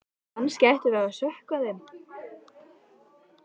Kannski ættum við að sökkva þeim.